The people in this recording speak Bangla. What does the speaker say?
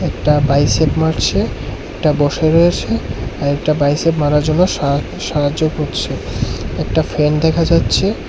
একটা বাইসেপ মারছে একটা বসে রয়েছে আর একটা বাইসেপ মারার জন্য সাহা-সাহায্য করছে একটা ফ্যান দেখা যাচ্ছে।